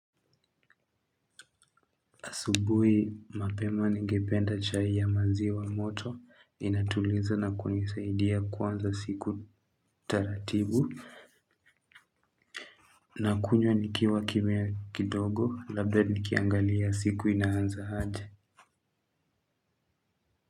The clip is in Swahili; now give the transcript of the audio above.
Asubuhi mapema ningependa chai ya maziwa moto, inatuliza na kunisaidia kuanza siku taratibu, na kunywa nikiwa kimya kidogo, labda nikiangalia siku inaanza aje.